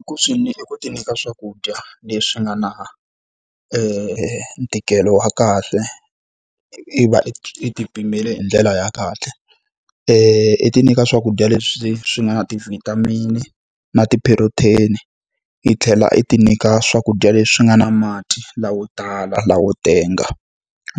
I ku swi i ku ti nyika swakudya leswi nga na ntikelo wa kahle, i va i i ti pimele hi ndlela ya kahle. I ti nyika swakudya leswi swi nga na ti-vitamin-i na ti-protein-i i tlhela i ti nyika swakudya leswi nga na mati lamo tala lamo tenga.